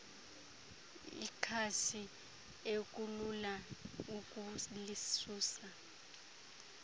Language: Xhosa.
ikhasi ekulula ukulisusa